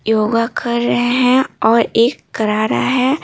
योगा कर रहे हैं और एक करा रहा है।